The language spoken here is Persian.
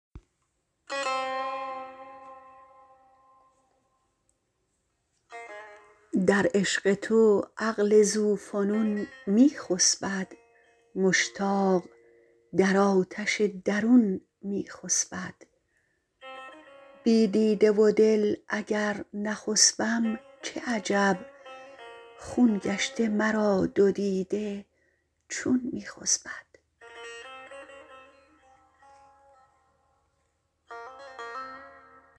در عشق تو عقل ذوفنون میخسبد مشتاق در آتش درون میخسبد بی دیده و دل اگر نخسبم چه عجب خون گشته مرا دو دیده چون میخسبد